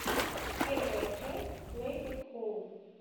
первая часть плэй эт хоум